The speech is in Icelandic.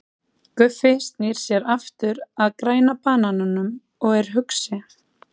Guffi snýr sér aftur að Græna banananum og er hugsi.